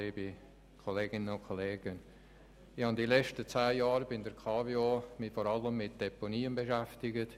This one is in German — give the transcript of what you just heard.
Ich habe mich während den letzten zehn Jahren bei der KWO vor allem und sehr intensiv mit Deponien beschäftigt.